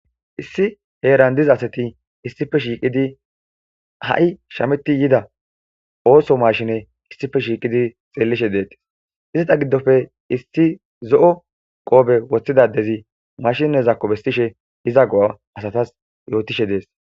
Issi heeran diza asati issife shiiqidi ha7i shameti yida ooso mashine issife shiiqidi xeellishe deettes izata giddofe isti zo7o qoobe woththidadezi mashinne zakko bestishe iza go,a asatas yootishe dees.